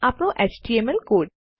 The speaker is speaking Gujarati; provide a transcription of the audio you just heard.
આપણો એચટીએમએલ કોડ